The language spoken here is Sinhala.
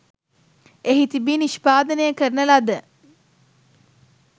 එහි තීබී නිෂ්පාදනය කරන ලද